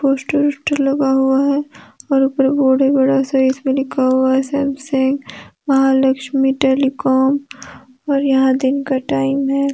Poster उसटर लगा हुआ हैं और ऊपर बोर्ड हैं बड़ा सा इसमें लिखा हुआ हैं सैमसंग महालक्ष्मी टेलीकॉम और यहां दीन का टाइम हैं।